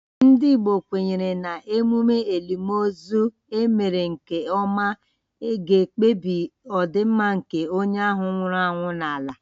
Ndị Igbo kwenyere na emume elimozu e mere nke ọma ga-ekpebi ọdịmma nke onye ahụ nwụrụ anwụ n’ala.